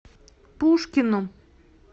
пушкину